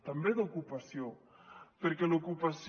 també d’ocupació perquè l’ocupació